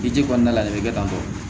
I ji kɔnɔna la de bɛ kɛ tan tɔ